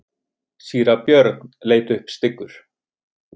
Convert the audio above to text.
Síra Björn leit upp styggur.